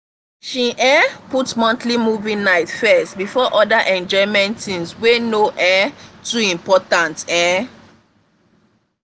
she um put monthly movie nights first before other enjoyment things wey no um too important. um